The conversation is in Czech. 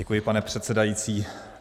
Děkuji, pane předsedající.